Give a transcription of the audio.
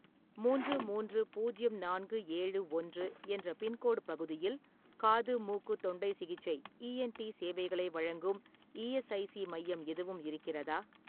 மூன்று மூன்று பூஜ்யம் நான்கு ஏழு ஒன்று என்ற பின்கோடு பகுதியில் காது-மூக்கு-தொண்டை சிகிச்சை இ என் டி சேவைகளை வழங்கும் ஈஎஸ்ஐசி மையம் எதுவும் இருக்கிறதா?